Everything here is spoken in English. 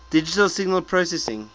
digital signal processing